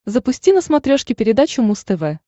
запусти на смотрешке передачу муз тв